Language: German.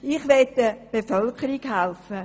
Ich möchte der Bevölkerung helfen.